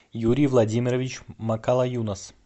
юрий владимирович макалаюнас